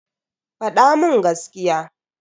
Fada mun gaskiya.